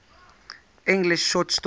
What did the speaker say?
english short story